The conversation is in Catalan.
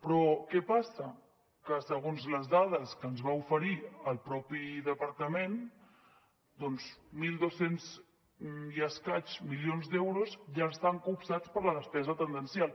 però què passa que segons les dades que ens va oferir el mateix departament doncs mil dos cents i escaig milions d’euros ja estan copsats per la despesa tendencial